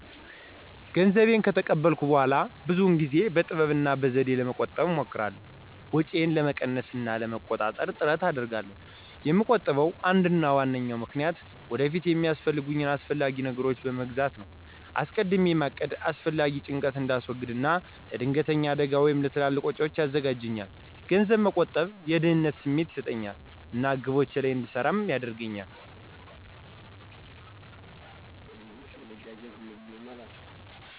ገንዘቤን ከተቀበልኩ በኋላ ብዙውን ጊዜ በጥበብ እና በዘዴ ለመቆጠብ እሞክራለሁ። ወጪዬን ለመቀነስ እና ለመቆጣጠር ጥረት አደርጋለሁ። የምቆጥብበ አንዱና ዋናው ምክንያት ወደፊት የሚያስፈልጉኝን አስፈላጊ ነገሮች መግዛት ነው። አስቀድሜ ማቀድ አላስፈላጊ ጭንቀትን እንዳስወግድ እና ለድንገተኛ አደጋ ወይም ለትልቅ ወጪዎች ያዘጋጃልኛል። ገንዘብ መቆጠብ የደህንነት ስሜት ይሰጠኛል እና ግቦቼ ላይ እንድሰራ ይረዳኛል።